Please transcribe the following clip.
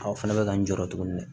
Aw fana bɛ ka n jɔ tuguni